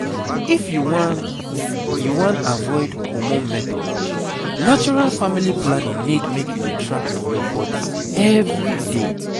if you wan you wan avoid hormone method natural family planning need make you dey track your body every day.